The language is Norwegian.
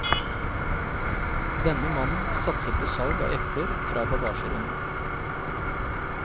Denne mannen satser på salg av epler fra bagasjerommet.